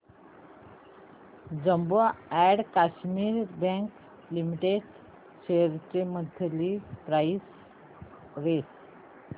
Jammu and Kashmir Bank Limited shares ची monthly price range